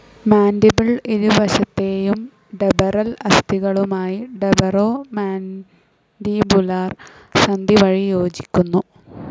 Mandible ഇരുവശത്തെയും temporal അസ്ഥികളുമായി temporo mandibular സന്ധി വഴി യോജിക്കുന്നു.